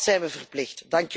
Dat zijn we verplicht.